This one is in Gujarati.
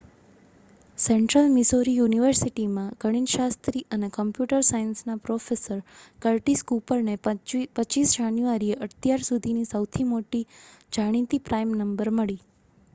સેન્ટ્રલ મિઝોરી યુનિવર્સિટીમાં ગણિતશાસ્ત્રી અને કોમ્પ્યુટર સાયન્સના પ્રોફેસર કર્ટિસ કૂપરને 25 જાન્યુઆરીએ અત્યાર સુધીની સૌથી મોટી જાણીતી પ્રાઈમ નંબર મળી